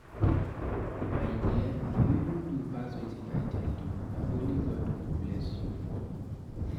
My dear you even do pass wetin I tell you. Na only God go bless you for me.